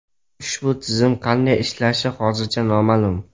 Ushbu tizim qanday ishlashi hozircha noma’lum.